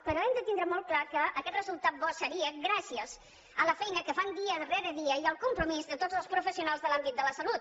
però hem de tindre molt clar que aquest resultat bo seria gràcies a la feina que fan dia rere dia i al compromís de tots els professionals de l’àmbit de la salut